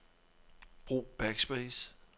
Brug backspace.